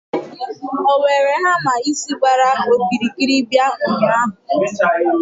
o were hamma isi gbara okirikiri bia ụnyahụ?